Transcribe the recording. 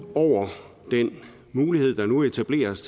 over den mulighed der nu etableres